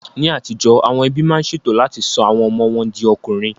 Ní àtijó, àwọn ẹbí máa ń ṣe ètò láti sọ àwọn ọmọ wọn di ọkùnrin